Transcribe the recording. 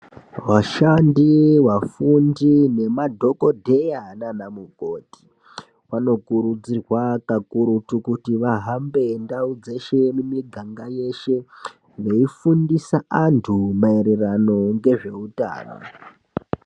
Vashandi vafundi nemadhokodheya vanokurudzirwa kakurutu kuti vahambe ndau dzeshe gange reshe veifundisa antu maererano ngezvehutano.